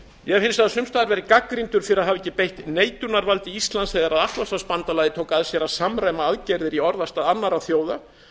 hef hins vegar sums staðar verið gagnrýndur fyrir að hafa ekki beitt neitunarvaldi íslands þegar atlantshafsbandalagið tók að sér að samræma aðgerðir í orðastað annarra þjóða